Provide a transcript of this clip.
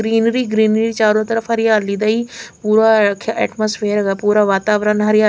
greenery greenery चारों तरफ हरियाली दई पूरा हो रखया एटमॉस्फियर दा पूरा वातावरण हरिया --